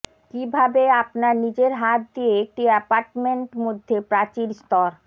কিভাবে আপনার নিজের হাত দিয়ে একটি অ্যাপার্টমেন্ট মধ্যে প্রাচীর স্তর